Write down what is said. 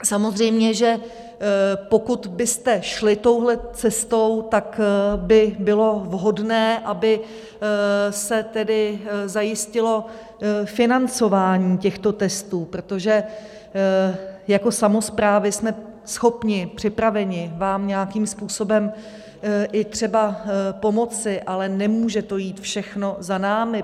Samozřejmě že pokud byste šli touhle cestou, tak by bylo vhodné, aby se tedy zajistilo financování těchto testů, protože jako samosprávy jsme schopni, připraveni, vám nějakým způsobem i třeba pomoci, ale nemůže to jít všechno za námi.